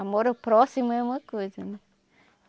Amor ao próximo é uma coisa, né?